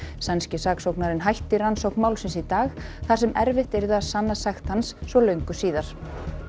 sænski saksóknarinn hætti rannsókn málsins í dag þar sem erfitt yrði að sanna sekt hans svo löngu síðar